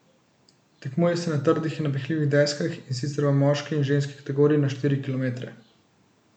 Tekmuje se na trdih in napihljivih deskah, in sicer v moški in ženski kategoriji na štiri kilometre.